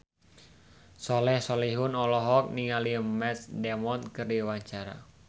Soleh Solihun olohok ningali Matt Damon keur diwawancara